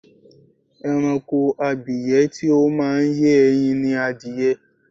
Ẹranko abìyẹ́ tí ó máa ń yé ẹyin ni adìyẹ.